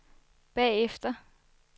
bagefter